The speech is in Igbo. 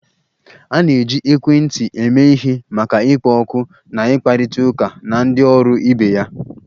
A na-eji ekwentị eme ihe maka ịkpọ oku na ịkparịta ụka na ndị ọrụ ibe ya